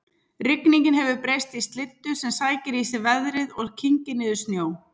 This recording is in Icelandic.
Rigningin hefur breyst í slyddu sem sækir í sig veðrið og kyngir niður snjó